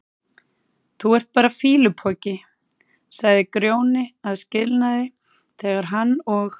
Þú ert bara fýlupoki, sagði Grjóni að skilnaði þegar hann og